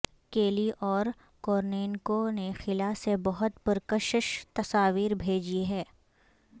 کیلی اور کورنینکو نے خلا سے بہت پرکشش تصاویر بھیجی ہیں